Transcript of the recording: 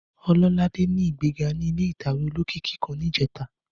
Ọlọ́ládé ní ìgbéga ní ilé ìtàwé olókìkí kan níjẹta.